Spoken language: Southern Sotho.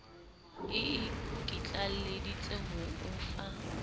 e ikitlaleditse ho o fa